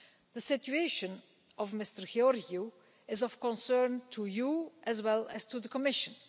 The situation of Mr Georgiou is of concern to you as well as to the Commission.